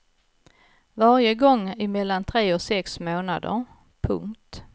Varje gång i mellan tre och sex månader. punkt